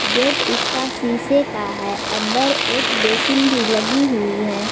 Gate उसका शीशे का है अंदर एक बेसिन भी लगी हुई है।